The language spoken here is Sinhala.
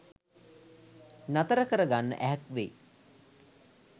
නතර කර ගන්න ඇහැක් වෙයි.